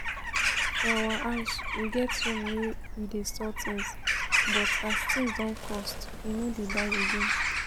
For our house we get room we dey store things, but as things don cost we no dey buy again